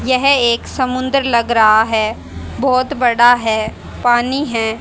यह एक समुद्र लग रहा है बहोत बड़ा है पानी है।